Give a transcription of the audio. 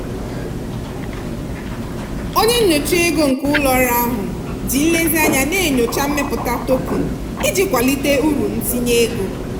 onye nyocha ego nke ụlọ ọrụ ahụ ji nlezianya na-enyocha mmepụta token iji kwalite uru ntinye ego.